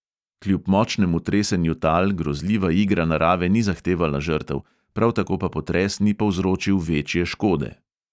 Kljub močnemu tresenju tal grozljiva igra narave ni zahtevala žrtev, prav tako pa potres ni povzročil večje škode.